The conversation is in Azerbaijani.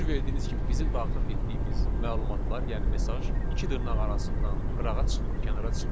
Fikir verdiyiniz kimi bizim daxil etdiyimiz məlumatlar, yəni mesaj iki dırnaq arasından qırağa çıxmır, kənara çıxmır.